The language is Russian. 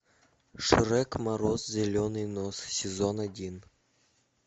шрек мороз зеленый нос сезон один